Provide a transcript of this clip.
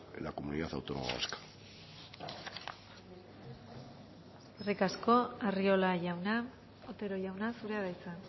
en la comunidad autónoma vasca eskerrik asko arriola jauna otero jauna zurea da hitza